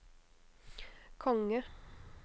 konge